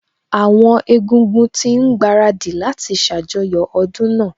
Àwọn Egúngún ti ń gbaradì láti ṣàjọyọ̀ ọdún náà